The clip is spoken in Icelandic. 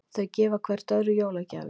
Þau gefa hvert öðru jólagjafir.